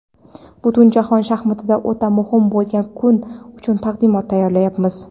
butunjahon shaxmatida o‘ta muhim bo‘lgan kun uchun taqdimot tayyorlayapmiz.